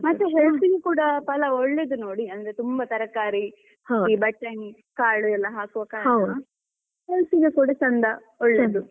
ಮತ್ತೆ health ಗೆ ಕೂಡ ಪಲಾವ್ ಒಳ್ಳೆದು ನೋಡಿ ಅಂದ್ರೆ ತುಂಬಾ ತರಕಾರಿ ಬಟಾಣಿ ಕಾಳು ಎಲ್ಲ ಹಾಕುವ ಕಾರಣ health ಇಗೆ ಕೂಡ ಚಂದ ಒಳ್ಳೆದು.